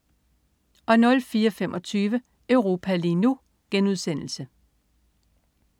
04.25 Europa lige nu*